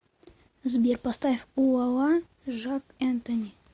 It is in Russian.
сбер поставь у ла ла ла жак энтони